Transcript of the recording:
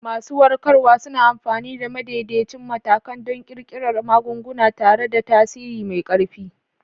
Masu warkarwa suna amfani da madaidaicin matakan don ƙirƙirar magunguna tare da tasiri mai ƙarfi.